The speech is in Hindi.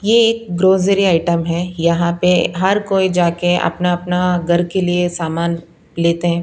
ये एक ग्रोजरी आइटम है यहां पे हर कोई जाके अपना अपना घर के लिए सामान लेते--